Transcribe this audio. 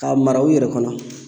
K'a mara u yɛrɛ kɔnɔ